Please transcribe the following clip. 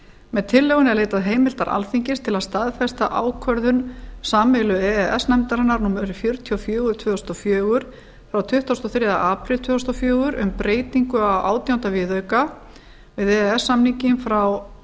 með tillögunni er leitað heimildar alþingis til að staðfesta ákvörðun sameiginlegu e e s nefndarinnar númer fjörutíu og fjögur tvö þúsund og fjögur frá tuttugasta og þriðja apríl tvö þúsund og fjögur um breytingu á átjánda viðauka við e e s samninginn frá